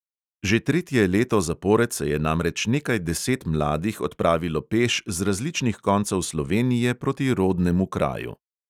Že tretje leto zapored se je namreč nekaj deset mladih odpravilo peš z različnih koncev slovenije proti rodnemu kraju.